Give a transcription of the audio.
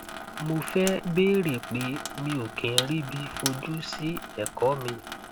mo fẹ bèèrè pé mi ò kí ń ríbi fojú sí ẹkọ mi